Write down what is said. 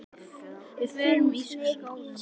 Við förum úr skónum.